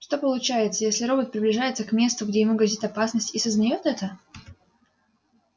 что получается если робот приближается к месту где ему грозит опасность и сознает это